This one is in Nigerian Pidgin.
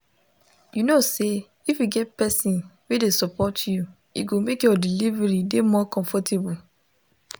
u know say if you get person wey de support you e go make your delivery de more comfortable